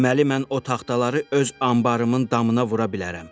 Deməli mən o taxtaları öz anbarımın damına vura bilərəm.